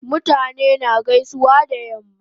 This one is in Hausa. Mutane na gaisuwa da yamma